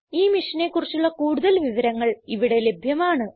ഈ മിഷനെ കുറിച്ചുള്ള കുടുതൽ വിവരങ്ങൾ ഇവിടെ ലഭ്യമാണ്